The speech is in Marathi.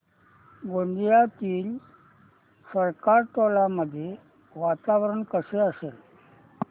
गोंदियातील सरकारटोला मध्ये वातावरण कसे असेल